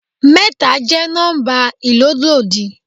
Mẹ́ta jẹ́ nọ́ḿbà ìlólòdí.